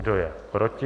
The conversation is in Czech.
Kdo je proti?